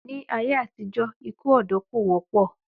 Ní ayé àtijó, ikú òdó kò wópò